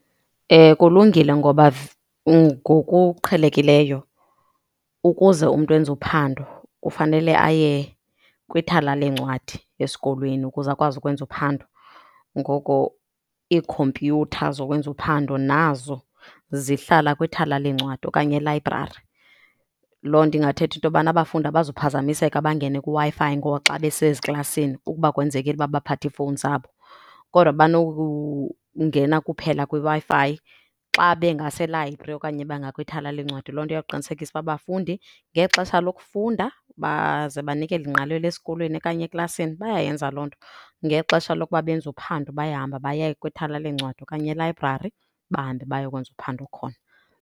Kulungile ngoba ngokuqhelekileyo ukuze umntu enze uphando kufanele aye kwithala leencwadi esikolweni, ukuze akwazi ukwenza uphando, ngoko iikhompyutha zokwenza uphando nazo zihlala kwithala leencwadi okanye elayibrari. Loo nto ingathetha into yobana abafundi abazuphazamiseka bangene kwiWi-Fi ngokuba xa beseziklasini ukuba kwenzekile ukuba baphathe iifowuni zabo, kodwa banokungena kuphela kwiWi-Fi xa bengaselayibri okanye bengakwithala leencwadi. Loo nto iyawuqinisekisa uba abafundi ngexesha lokufunda baze banikele ingqalelo esikolweni okanye eklasini bayayenza loo nto, ngexesha lokuba benze uphando bayahamba baya kwithala leencwadi okanye elayibrari bahambe bayokwenza uphando khona.